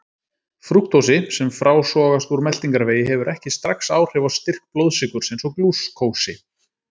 Frúktósi, sem frásogast úr meltingarvegi, hefur ekki strax áhrif á styrk blóðsykurs eins og glúkósi.